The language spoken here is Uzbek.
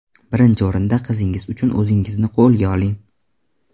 Birinchi o‘rinda qizingiz uchun o‘zingizni qo‘lga oling.